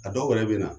A dɔw yɛrɛ bɛ na